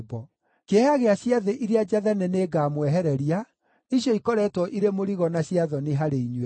“Kĩeha gĩa ciathĩ iria njathane nĩngamwehereria; icio ikoretwo irĩ mũrigo na cia thoni harĩ inyuĩ.